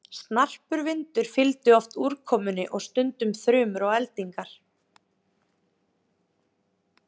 Snarpur vindur fylgir oft úrkomunni og stundum þrumur og eldingar.